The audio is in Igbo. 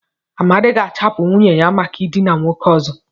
Amadi ga-achụpụ nwunye maka ịdịna nwoke ọzọ.